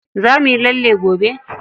Za muyi lalle gobe?